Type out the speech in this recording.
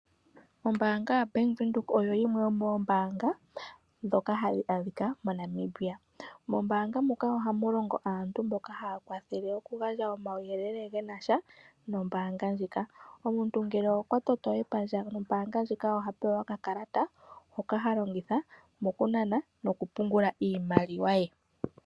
Ombaanga yaBank Windhoek oyo yimwe yomoombaanga ndhoka hadhi adhika moNamibia. Mombaanga muka ohamu longo aantu mboka haa kwathele okugandja omauyelele genasha nombaanga ndjika. Omuntu ngele okwa toto epandja nombaanga ndjika oha pewa okakalata hoka ha longitha mokunana nokupungula iimaliwa ye.